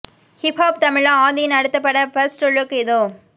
hip hop Tamizha ஆதியின் அடுத்த பட பர்ஸ்ட் லுக் இதோ